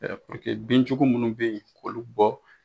binj ugu minnu bɛ yen k'olu bɔ